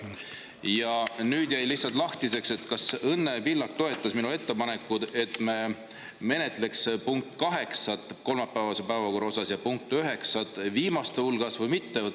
Ja nüüd jäi lahtiseks, kas Õnne Pillak toetas minu ettepanekut, et me menetleksime kolmapäevase päevakorra punkti 8 ja punkti 9 viimaste hulgas, või mitte.